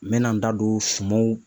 N mɛ na n da don sumaw